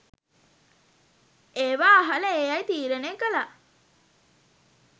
ඒවා අහල ඒ අය තීරණය කළා